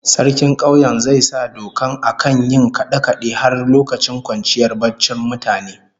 Sarkin kauyen zai sa dokar akan yin kade-kade har lokacin kwanciyar barcin mutane